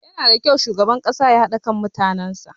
Yanada kyau shugaban ƙasa ya haɗa kan mutanen sa.